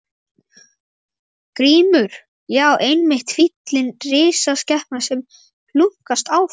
GRÍMUR: Já, einmitt fíllinn, risaskepnan sem hlunkast áfram.